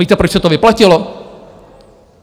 Víte, proč se to vyplatilo?